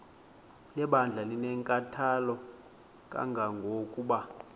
lebandla linenkathalo kangangokuba